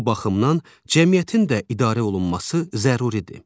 Bu baxımdan cəmiyyətin də idarə olunması zəruridir.